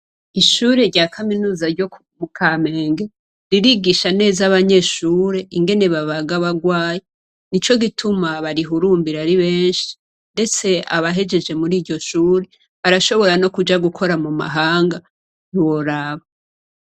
Ishure rya kaminuza ryo mu Kamenge , ririgisha neza abanyeshure ingene babaga abagwayi, nico gituma barihurumbira ari benshi, ndetse abahejeje muriyo shure ,barashobora no kuja gukora mumahanga , ntiworaba.